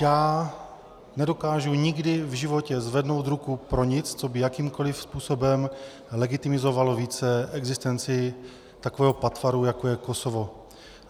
Já nedokážu nikdy v životě zvednout ruku pro nic, co by jakýmkoli způsobem legitimizovalo více existenci takového patvaru, jako je Kosovo.